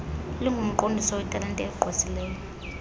lingumqondiso wetalente egqwesileyo